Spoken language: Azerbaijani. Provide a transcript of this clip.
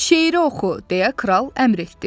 Şeiri oxu, deyə kral əmr etdi.